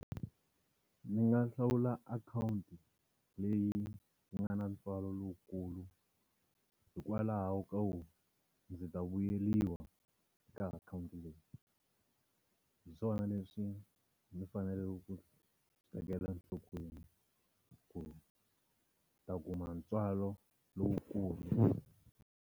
Ni nga hlawula akhawunti leyi yi nga na ntswalo lowukulu hikwalaho ka ku ndzi ta vuyeriwa ka akhawunti leyi. Hi swona leswi ni faneleke ku swi tekela nhlokweni ku ta kuma ntswalo lowukulu.